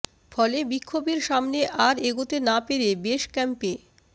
ফলে বিক্ষভের সামনে আর এগোতে না পেরে বেস ক্যাম্পে